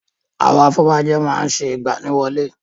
Àwọn afọbajẹ má ń ṣe ìgbaniwọlé.